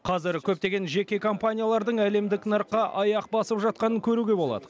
қазір көптеген жеке компаниялардың әлемдік нарыққа аяқ басып жатқанын көруге болады